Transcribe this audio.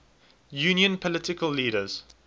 union political leaders